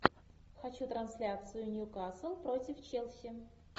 хочу трансляцию ньюкасл против челси